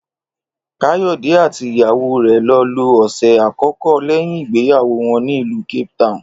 Káyò̩dé àti ìyàwó rè̩ lo̩ lo òsè̩ àkókó̩ lé̩yìn ìgbéyàwó wo̩n ní ìlú Cape Town